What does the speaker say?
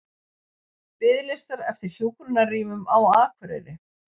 Biðlistar eftir hjúkrunarrýmum á Akureyri